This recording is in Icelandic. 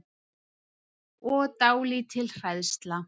Og dálítil hræðsla.